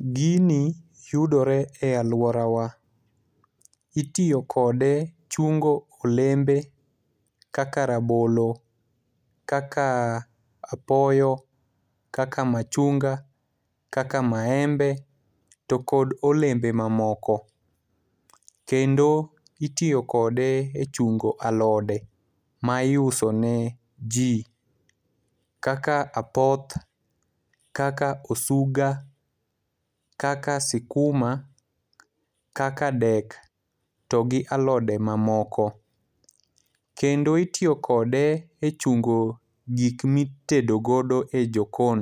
Gini yudore e alworawa. Itiyo kode chungo olembe kaka rabolo, kaka apoyo, kaka machunga, kaka maembe to kod olembe mamoko. Kendo itiyo kode e chungo alode ma iuso ne ji kaka apoth, kaka osuga, kaka sikuma, kaka dek to gi alode mamoko. Kendo itiyo kode e chungo gik mi itedo godo e jokon.